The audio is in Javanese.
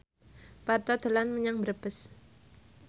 Parto dolan menyang Brebes